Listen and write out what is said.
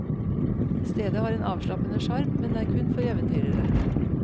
Stedet har en avslappende sjarm, men er kun for eventyrere.